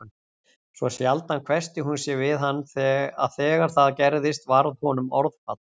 Svo sjaldan hvessti hún sig við hann að þegar það gerðist varð honum orðfall